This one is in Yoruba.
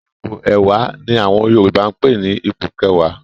Ipò ẹ̀wá ni àwọn Yorùbá ń pè ní "ipò kẹwàá".